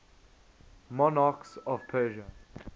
monarchs of persia